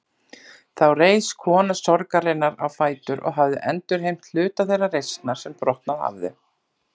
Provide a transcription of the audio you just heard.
Þá reis kona sorgarinnar á fætur og hafði endurheimt hluta þeirrar reisnar sem brotnað hafði.